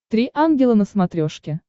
три ангела на смотрешке